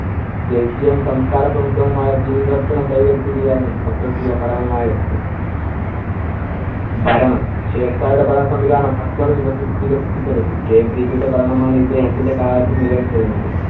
ദേശീയവും സംസ്‌കാരപ്രമുദ്ധവുമായ കൈവരുത്തുകയായിരുന്നു ചക്രവർത്തിയുടെ പരമമായ യജ്ഞം. ഭരണം, ഷേർഷായുടെ ഭരണ സംവിധാനം അക്ബർ വികസി~ വികസിപ്പിച്ചെടുത്തു. കേന്ദ്രീകൃത ഭരണം ആണ് ഇദ്ദേഹത്തിന്‍റെ കാലത്തു നിലനിന്നിരുന്നത്.